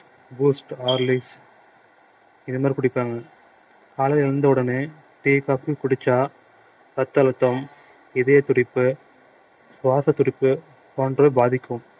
boost horlicks இது மாதிரி குடிப்பாங்க காலையில எழுந்தவுடனே tea coffee குடிச்சா ரத்த அழுத்தம் இதயத்துடிப்பு சுவாச துடிப்பு போன்றவை பாதிக்கும்